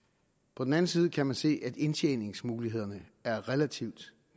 på den anden side kan man se at indtjeningsmulighederne er relativt